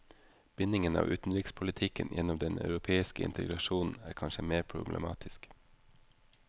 Bindingen av utenrikspolitikken gjennom den europeiske integrasjonen er kanskje mer problematisk.